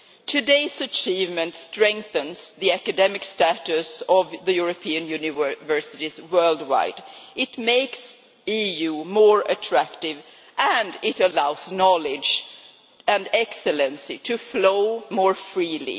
Today's achievement strengthens the academic status of European Union universities worldwide, it makes the EU more attractive, and it allows knowledge and excellence to flow more freely.